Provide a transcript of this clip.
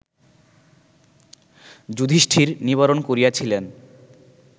যুধিষ্ঠির নিবারণ করিয়াছিলেন